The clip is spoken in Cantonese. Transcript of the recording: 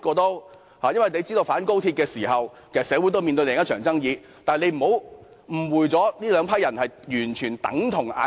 你也知道，市民反高鐵示威時，社會其實面對另一場爭議，但你不要誤會這兩批人是完全相同的。